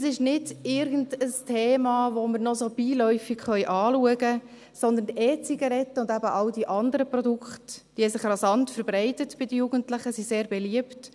Es ist nicht irgendein Thema, welches wir noch so beiläufig anschauen können, sondern die E-Zirgaretten und all diese anderen Produkte haben sich rasant verbreitet bei den Jugendlichen, sie sind sehr beliebt.